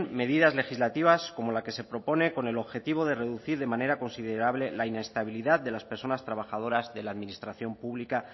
medidas legislativas como la que se propone con el objetivo de reducir de manera considerable la inestabilidad de las personas trabajadoras de la administración pública